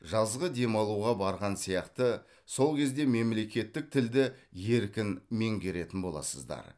жазғы демалуға барған сияқты сол кезде мемлекеттік тілді еркін меңгеретін боласыздар